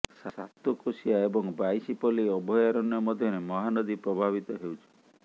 ସାତକୋଶିଆ ଏବଂ ବାଈଶିପଲ୍ଲୀ ଅଭୟାରଣ୍ୟ ମଧ୍ୟରେ ମହାନଦୀ ପ୍ରଭାବିତ ହେଉଛି